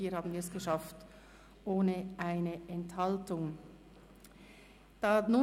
Hier haben wir es ohne eine Enthaltung geschafft.